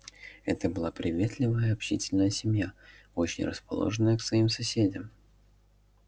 это была приветливая общительная семья очень расположенная к своим соседям